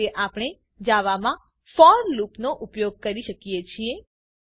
આ રીતે આપણે જાવામાં ફોર લૂપનો ઉપયોગ કરી શકીએ છીએ